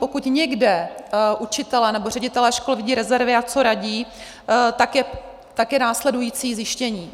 Pokud někde učitelé nebo ředitelé škol vidí rezervy, a co radí, je to následující zjištění.